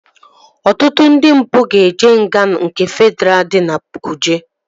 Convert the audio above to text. Ọtụtụ ndị mpụ ga-eje nga nke Fedraa dị na kuje